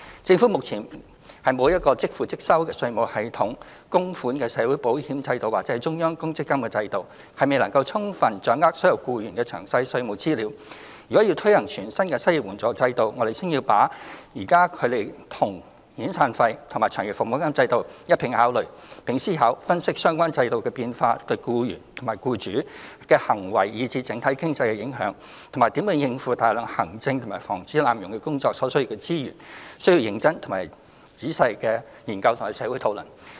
政府目前沒有即收即付的稅務系統、供款的社會保險制度或中央公積金制度，亦未能充分掌握所有僱員的詳細稅務資料，如要推行全新的失業援助制度，我們先要把它與現有的遣散費及長期服務金制度一併考慮，並思考、分析相關制度變化對僱主及僱員的行為以至整體經濟的影響，以及如何應付大量行政及防止濫用工作所需的資源，需要認真及詳細的研究和社會討論。